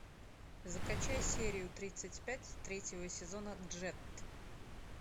закачай серию тридцать пять третьего сезона джетт